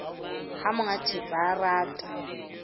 ha monga thepa a rata